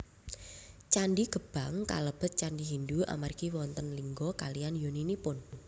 Candhi Gebang kalebet candhi Hindu amargi wonten lingga kaliyan yoninipun